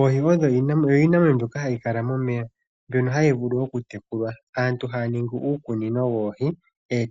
Oohi oyo iinamwenyo yimwe mbyoka hayi vulu okutekulwa. Aantu haa ningi uukunino woohi,